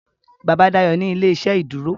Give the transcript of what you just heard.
Bàbá Dayo ní ilé-iṣẹ́ ìdúró